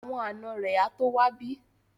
Àwọn ànọ́ rẹ̀ á tó wá bí